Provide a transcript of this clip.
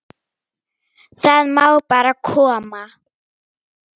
Það má bara koma.